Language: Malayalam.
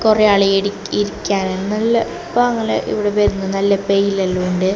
കുറേക്കാളുകൾ ഇരി ഇരിക്കാന് നല്ല പാങ്ങല് ഇവിടെ വരുന്ന നല്ല പെയിലായെല്ലാം ഉണ്ട്.